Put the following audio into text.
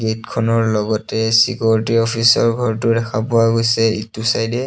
গেটখনৰ লগতে চিকিউৰিটি অফিচৰ ঘৰটো দেখা পোৱা গৈছে ইটো চাইডে।